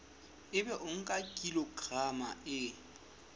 ebe o nka kilograma e